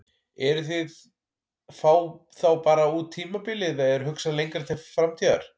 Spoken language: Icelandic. Eruð þið að fá þá bara út tímabilið eða er hugsað lengra til framtíðar?